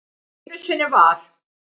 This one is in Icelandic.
Einu sinni var.